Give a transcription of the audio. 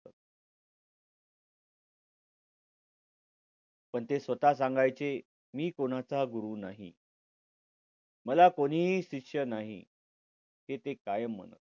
पण ते स्वतः सांगायचे मी कोणाचा गुरू नाही. मला कोणीही शिष्य नाही. हे कायम म्हणायचे.